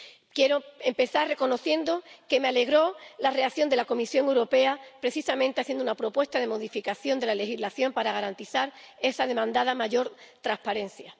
Quiero empezar reconociendo que me alegró la reacción de la Comisión Europea, que precisamente hizo una propuesta de modificación de la legislación para garantizar esa demandada mayor transparencia.